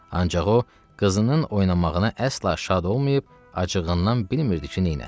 Ancaq o, qızının oynamağına əsla şad olmayıb, acığından bilmirdi ki, neyləsin.